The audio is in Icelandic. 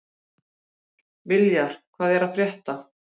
Viljar, hvað er að frétta?